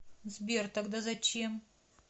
сбер тогда зачем